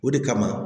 O de kama